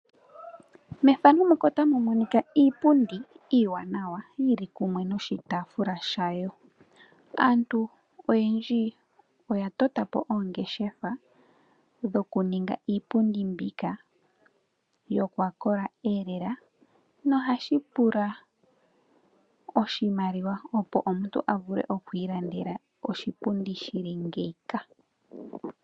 Efano otali ulike iipundi iwanawa yil kumwe noshitafula shayo. Aantu oyendji oya tota po oongeshefa dhoku ninga po iipundi mbika yokwakola elela. Nohashi pula oshimaliwa opo omuntu a vule oku okwi ilandela oshipundi shili ngeyika.